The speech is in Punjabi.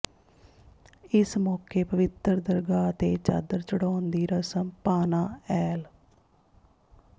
ਇਸ ਮੌਕੇ ਪਵਿੱਤਰ ਦਰਗਾਹ ਤੇ ਚਾਦਰ ਝੜਾਉਣ ਦੀ ਰਸਮ ਭਾਨਾ ਐਲ